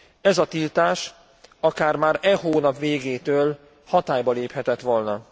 Ez a tiltás akár már e hónap végétől hatályba léphetett volna.